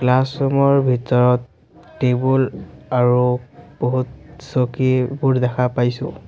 Classroom ৰ ভিতৰত table আৰু বহুত চকীবোৰ দেখা পাইছোঁ।